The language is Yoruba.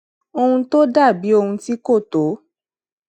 ohun tó dà bí ohun tí kò tó